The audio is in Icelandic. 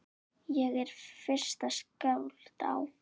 Ég er fyrsta skáld á